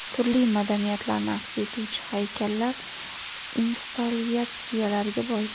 Turli madaniyatlarni aks etuvchi haykallar, installyatsiyalarga boy.